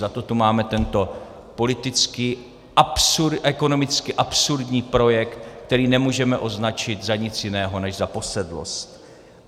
Zato tu máme tento politicky a ekonomicky absurdní projekt, který nemůžeme označit za nic jiného než za posedlost.